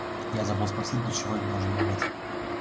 я забыл спросить для чего им нужен логотип